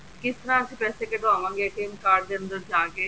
ਕਿਸ ਨਾਲ ਅਸੀਂ ਪੈਸੇ ਕੱਡਵਾਵਾਂਗੇ card ਚ ਅੰਦਰ ਜਾਕੇ